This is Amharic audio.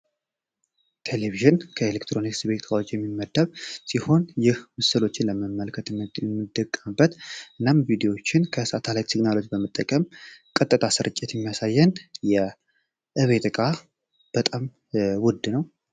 ቴሌቪዥን ከኤሌክትሮኒክስ መሳሪያዎች እና ቪድዮችን ከሳተላይት በመጠቀም ቀጥታ ስርጭት የሚያሳየን የ ቤት ዕቃ በጣም ውድ ነው።